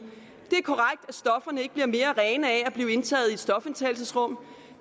det ikke bliver mere rene af at blive indtaget i et stofindtagelsesrum